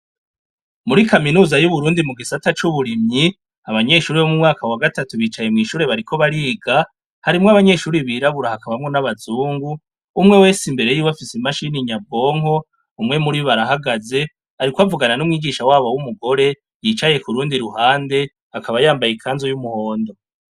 Muri kaminuza y' Uburundi mu gisata c' uburimyi, abanyeshuri bo mu mwaka wa gatatu bicaye mw' ishuri bariko bariga, harimwo abanyeshuri birabura hakamwo n' abazungu, umwe wese imbere yiwe afise imashini nyabwonko, umwe muribo arahagaze, ariko avugana n' umwigisha wabo w' umugore, yicaye kurundi rugande, akaba yambaye ikanzu y' umuhondo.